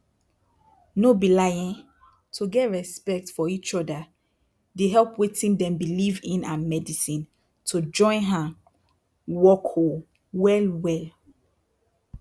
no be lie eh to get respect for eachoda dey help wetin dem believe in and medisin to join hand work oohh well well